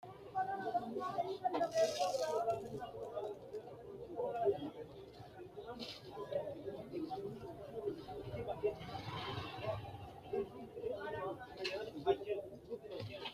tini maa xawissanno misileeti ? mulese noori maati ? hiissinannite ise ? tini kultannori maati? borro tini uyiittanno xawishshi maati?